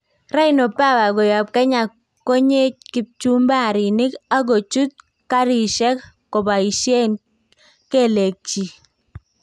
Rhino Power' koyaab Kenya konyee kipchumaarik ak koochuut kaarisyeek kobayisyeen kelekchik